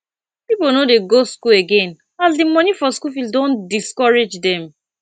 people no dey go school again as de monie for school fees don discourage them